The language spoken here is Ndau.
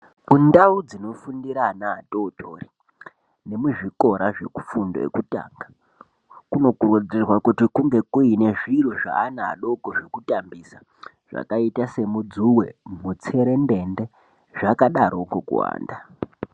Kundau dzinofundira ana adodori nemuzvikora zvekufundo yekutanga kunokukurudzirwa kuti kunge kuine zviro zveana adoko zvekutambisa, zvakaita semudzuwe, mutserendende zvakadarokwo kuwanda.